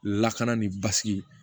Lakana ni basigi